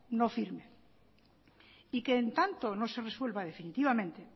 no firme y que en tanto no se resuelva definitivamente